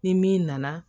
Ni min nana